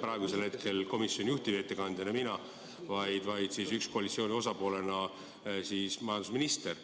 praegusel hetkel komisjoni juhtivettekandjana mitte mina, vaid koalitsiooni osapoolena majandusminister.